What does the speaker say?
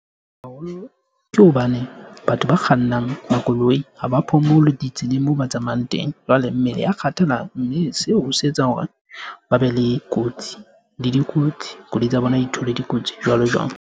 Haholo ke hobane batho ba kgannang makoloi haba phomole ditseleng moo ba tsamayang teng. Jwale mmele ya kgathala mme seo se etsa hore ba be le kotsi le dikotsi. Koloi tsa bona di thole dikotsi jwalo jwalo.